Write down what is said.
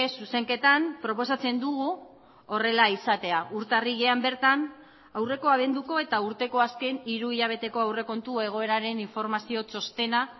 zuzenketan proposatzen dugu horrela izatea urtarrilean bertan aurreko abenduko eta urteko azken hiru hilabeteko aurrekontu egoeraren informazio txostena